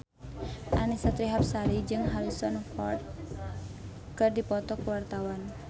Annisa Trihapsari jeung Harrison Ford keur dipoto ku wartawan